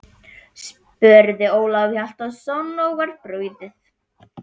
spurði Ólafur Hjaltason og var brugðið.